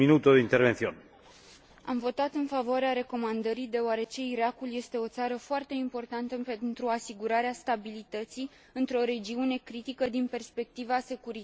Am votat în favoarea recomandării, deoarece Irakul este o țară foarte importantă pentru asigurarea stabilității într o regiune critică din perspectiva securității internaționale.